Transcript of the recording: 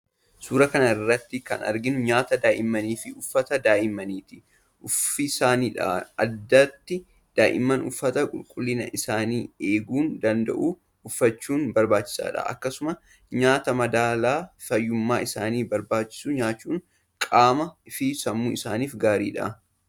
Suuraa kanarratti kan arginu nyaata daa'immanii fi uffata daa'immanitti uffisanidha. Addatti daa'imman uffata qulqullina isaanii eeguu danda’u uffachuun barbaachisaadha. Akkasumas nyaata madaalaa fayyummaa isaaniif barbaachisu nyaachuun qaamaa fi sammuu isaaniif gaariidha.